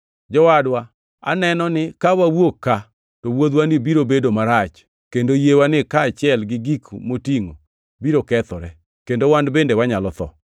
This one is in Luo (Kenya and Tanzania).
“Jowadwa, aneno ni ka wawuok ka, to wuodhwani biro bedo marach kendo yiewani kaachiel gi gik motingʼo biro kethore kendo wan bende wanyalo tho.”